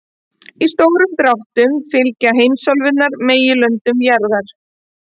Í stórum dráttum fylgja heimsálfurnar meginlöndum jarðar.